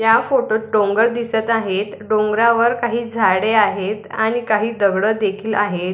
या फोटो त डोंगर दिसत आहेत डोंगरावर काही झाडे आहेत आणि काही दगडं देखील आहेत.